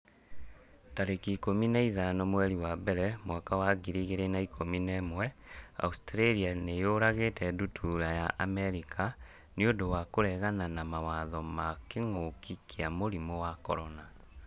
tarĩki ikũmi na ithano mweri wa mbere mwaka wa ngiri igĩrĩ na ikũmi na ĩmweAustralia nĩ yũragĩte ndutura ya Amerika 'nĩ ũndũ wa kũregana mawatho ma kĩngũki kia mũrimũ wa CORONA